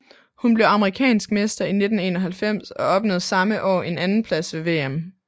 Hun blev amerikansk mester i 1991 og opnåede samme år en andenplads ved VM